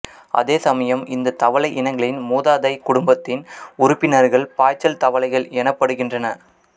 அதேசமயம் இந்த தவளை இனங்களின் மூதாதை குடும்பத்தின் உறுப்பினர்கள் பாய்ச்சல் தவளைகள் எனப்படுகின்றன